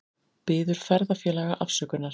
Biður ferðafélaga afsökunar